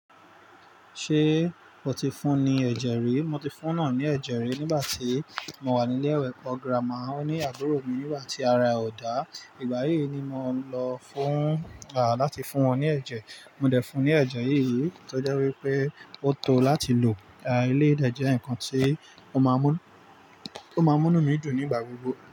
Ṣé o ti fún ní ẹ̀jẹ̀ rí? Mo ti fún eeyan ní ẹ̀jẹ̀ rí nígbà tí mo wà ní ilé ìwé. Ọ̀grá máa ó ní àbúrò mi nígbà tí ara ẹ̀ o dá. Ìgbà yìí ni mò ń lọ fún láti fún won ní ẹ̀jẹ̀. Mo dẹ̀ fun ní ẹ̀jẹ̀ yìí, tó jẹ́ wípé ó tó láti lò. À eléyï dẹ̀ jẹ́ nǹkan tí ó máa ń mú, ó máa ń múnú mí dùn ní ìgbà gbogbo.